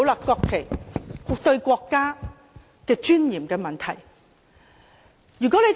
國旗是國家尊嚴的問題。